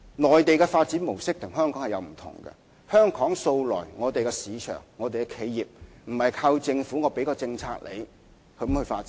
內地的發展模式與香港有不同，在香港的市場，企業素來不是靠政府提供政策而發展的。